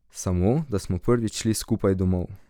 Samo da smo prvič šli skupaj domov.